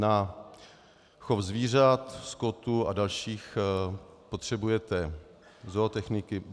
Na chov zvířat, skotu a dalších potřebujete zootechniky...